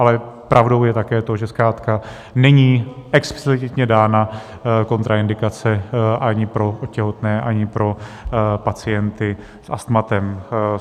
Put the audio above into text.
Ale pravdou je také to, že zkrátka není explicitně dána kontraindikace ani pro těhotné, ani pro pacienty s astmatem.